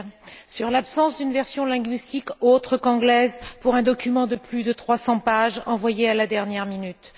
Je déplore l'absence d'une version linguistique autre qu'anglaise pour un document de plus de 300 pages envoyé à la dernière minute.